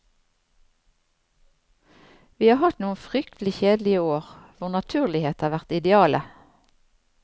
Vi har hatt noen fryktelig kjedelige år, hvor naturlighet har vært idealet.